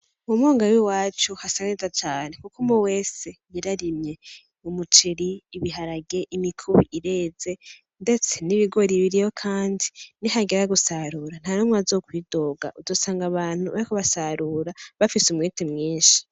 Mu mwonga w’iwacu hasa neza cane Kuko umwe wese yararimye umuceri, ibiharage, imikubi ireze ndetse n’ibigori biriyo Kandi nihagera gusarura nta numwe azokwidoga , uzosanga abantu bariko basarura bafise umwete mwinshi.